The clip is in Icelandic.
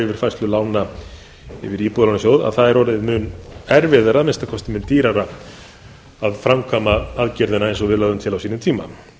yfirfærslu lána yfir í íbúðalánasjóð það er orðið mun erfiðara að minnsta kosti mun dýrara að framkvæma aðgerðina eins og við lögðum til á sínum tíma